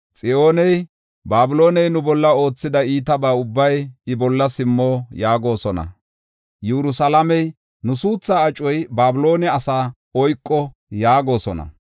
Xiyooney, “Babilooney nu bolla oothida iitaba ubbay iya bolla simmo” yaagosona. Yerusalaamey, “Nu suuthaa acoy Babiloone asa oyko” yaagosona.